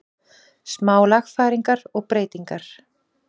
Smá lagfæringar og breytingar.